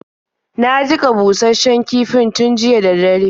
Na jiƙa bushasshen kifin tun jiya da dare.